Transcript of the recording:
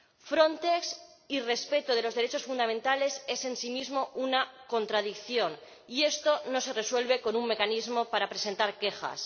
Frontex y respeto de los derechos fundamentales son una contradicción, y esto no se resuelve con un mecanismo para presentar quejas.